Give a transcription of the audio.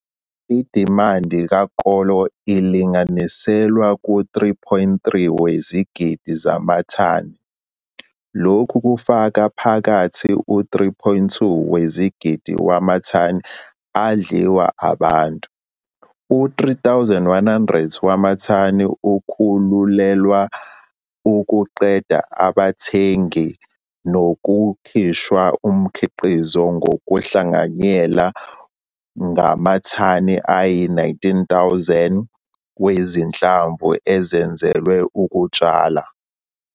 Idimandi kakolo ilinganiselwa ku3,3 wezigidi zamathani, lokhu kufaka phakathi u-3,2 wezigidi wamathani adliwa abantu, u-3 100 wamathani akhululelwa ukuqeda ngabathengi nokukhishwa umkhiqizi ngokuhlanganyela ngamathani ayi-19 000 wezinhlamvu ezenzelwe ukutshala.